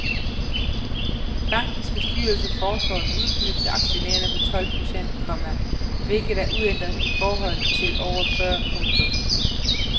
Bankens bestyrelse foreslår et udbytte til aktionærerne på tolv procent, komma hvilket er uændret i forhold til året før. punktum